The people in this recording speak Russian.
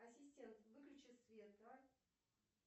ассистент выключи свет а